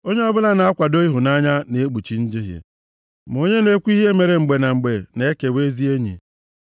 Onye ọbụla na-akwado ịhụnanya na-ekpuchi njehie, ma onye na-ekwu ihe mere mgbe na mgbe na-ekewa ezi enyi.